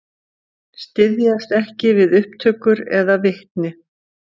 Styðjast ekki við upptökur eða vitni